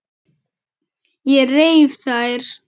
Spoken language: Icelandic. Ég reif þær.